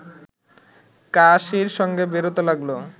কাশির সঙ্গে বেরোতে লাগল